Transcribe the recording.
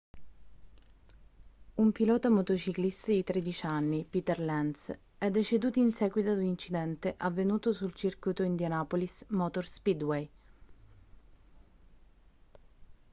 un pilota motociclista di 13 anni peter lenz è deceduto in seguito ad un incidente avvenuto sul circuito indianapolis motor speedway